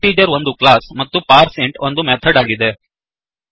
integer ಒಂದು class ಮತ್ತು parseInt ಒಂದು ಮೆಥಡ್ ಆಗಿದೆ